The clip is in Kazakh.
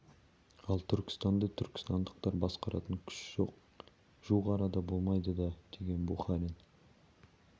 ал түркістанды түркістандықтар басқаратын күш жоқ жуық арада болмайды да деген бухарин